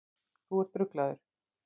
Þú ert ruglaður.